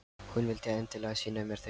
Hún vildi endilega sýna mér þau.